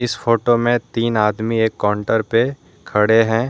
Photo में तीन आदमी एक काउंटर पे खड़े हैं।